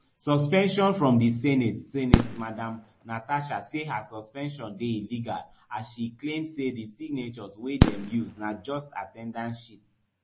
suspension from di senate senate madam natasha say her suspension dey illegal as she claim say di signatures wey dem use na just at ten dance sheet